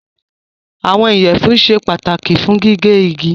Àwọn iyẹfunsẹ́ pátàkì fún gígẹ̀ igi.